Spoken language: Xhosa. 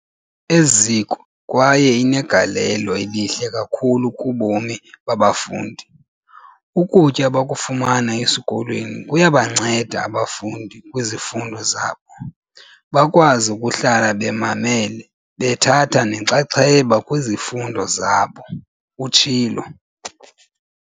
"eziko kwaye inegalelo elihle kakhulu kubomi babafundi. Ukutya abakufumana esikolweni kuyabanceda abafundi kwizifundo zabo, bakwazi ukuhlala bemamele bethatha nenxaxheba kwizifundo zabo," utshilo.